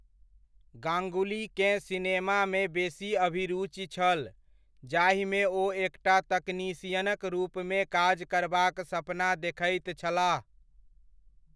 गाङ्गुलीकेँ सिनेमामे बेसी अभिरूचि छल, जाहिमे ओ एकटा तकनीशियनक रूपमे काज करबाक सपना देखैत छलाह।